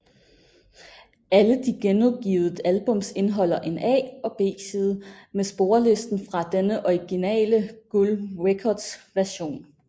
Alle de genudgivet albums indeholder en A og B side med sporlisten fra den originale Gull Records version